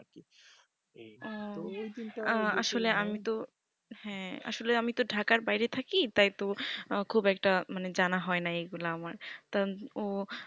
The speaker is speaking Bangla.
আঃ তো ওই দিন টা আসলে আমি তো হ্যা আসলে আমি তো ঢাকার বাইরে থাকি তাই তো খুব একটা মানে জানা হয় না এইগুলো আমার তা ও